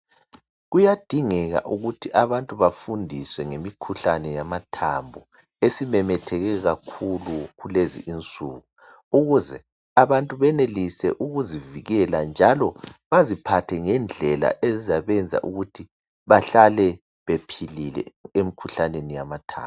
Kuyadingeka ukuthi abantu bafundiswe ngemikhuhlane yamathambo esimemetheke kakhulu kulezi insuku ukuze abantu benelise ukuzivikela njalo baziphathe ngendlela ezizabenza ukuthi bahlale bephilile emkhuhlaneni yamathambo